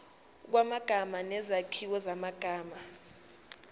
kwamagama nezakhiwo zamagama